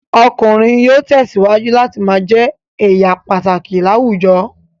Ọkùnrin yóò tẹ̀síwájú láti ma jẹ́ èèyà pàtàkì láwùjọ